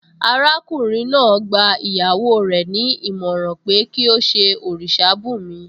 Arákùnrin náà gba ìyàwó rẹ̀ ní ìmọ̀ràn pé kí ó ṣe òrìṣà bùnmi